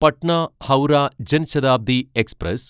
Patna Howrah Jan Shatabdi express